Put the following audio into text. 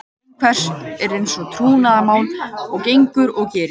Laun hvers og eins er trúnaðarmál eins og gengur og gerist.